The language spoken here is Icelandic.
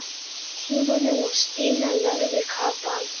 Tímanum og Stína lagði kapal.